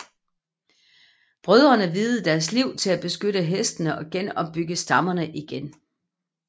Brødrene viede deres liv til at beskytte hestene og opbygge stammerne igen